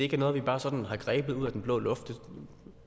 er noget der sådan er grebet ud af den blå luft det